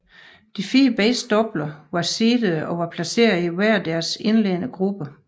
De fire bedst doubler var seedede og var placeret i hver deres indledende gruppe